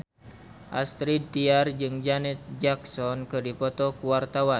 Astrid Tiar jeung Janet Jackson keur dipoto ku wartawan